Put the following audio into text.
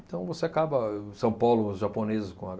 Então, você acaba... São Paulo, os japoneses com